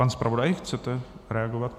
Pane zpravodaji, chcete reagovat?